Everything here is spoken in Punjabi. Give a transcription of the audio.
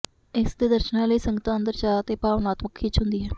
ਇਸ ਦੇ ਦਰਸ਼ਨਾਂ ਲਈ ਸੰਗਤਾਂ ਅੰਦਰ ਚਾਅ ਅਤੇ ਭਾਵਨਾਤਮਕ ਖਿੱਚ ਹੁੰਦੀ ਹੈ